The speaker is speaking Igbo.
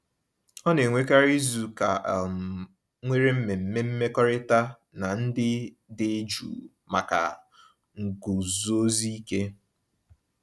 Ọ na-enwekarị izuụka um nwere mmemme mmekọrịta na ndị dị jụụ maka nguzozi ike.